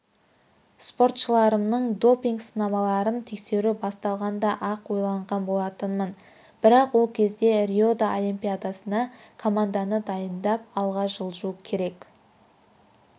споршыларымныңдопинг-сынамаларын тексеру басталғанда-ақ ойлаған болатынмын бірақ ол кезде рио олимпиадасына команданы дайындап алға жылжу керек